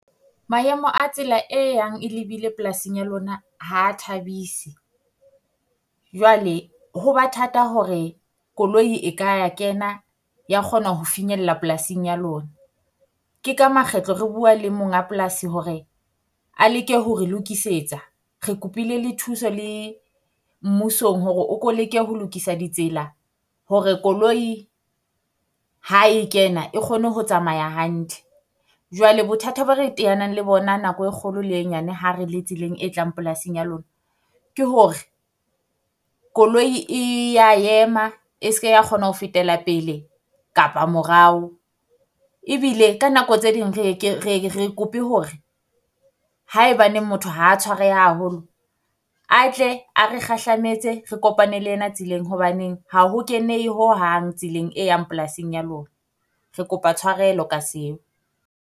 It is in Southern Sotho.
Maemo a tsela e yang e lebile polasing ya lona ha thabise, jwale ho ba thata hore koloi e ka ya kena ya kgona ho finyella polasing ya lona. Ke ka makgetlo re bua le mong a polasi hore a leke ho re lokisetsa. Re kopile le thuso le mmusong hore o ko leke ho lokisa ditsela hore koloi ha e kena e kgone ho tsamaya hantle. Jwale bothata bo re teanang le bona nako e kgolo le e nyane ha re le tseleng e tlang polasing ya lona, ke hore koloi e ya ema e se ke ra kgona ho fetela pele kapa morao. Ebile ka nako tse ding re ke re re kope hore haebaneng motho ha tshwareha haholo, a tle a re kgahlametse re kopane le ena tseleng. Hobaneng ha ho kenehe ho hang tseleng e yang polasing ya lona. Re kopa tshwarelo ka seo.